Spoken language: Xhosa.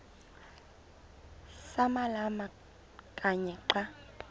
samalama kanye xa